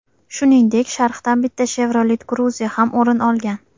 Shuningdek, sharhdan bitta Chevrolet Cruze ham o‘rin olgan.